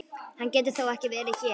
Hann getur þó ekki verið hér!